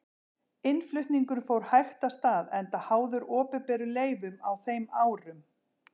Innflutningurinn fór hægt af stað enda háður opinberum leyfum á þeim árum.